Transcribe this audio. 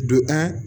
Do